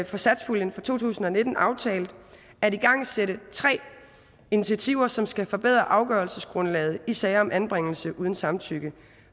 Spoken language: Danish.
for satspuljen for to tusind og nitten aftalt at igangsætte tre initiativer som skal forbedre afgørelsesgrundlaget i sager om anbringelse uden samtykke